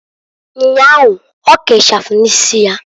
Nnyahu, oke ichafu n'isi ya.